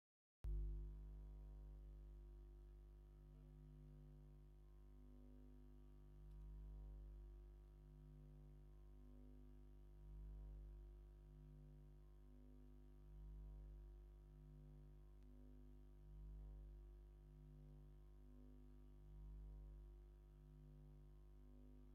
ምንም ዓይነት ገረብ ዘይብሉ፣ ካብ ምድሪ ፈንቂሉ ዝወፀ ናይ ጂኦተርማል እንፋሎት ዝረአየሉ ፍፁም በረኻ ዝኾነ ምድሪ እኒአ፡፡ እዚ ምድሪ ኣይኮነን ክትነብረሉ ንቅፅበት እግርኻ ክረግፆ እዃ ኣየምንን፡፡